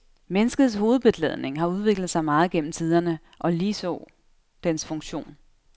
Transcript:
Menneskets hovedbeklædning har udviklet sig meget gennem tiderne og ligeså dens funktion.